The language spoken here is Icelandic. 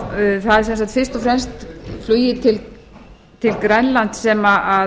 fyrirspurn það er fyrst og fremst flugið til grænlands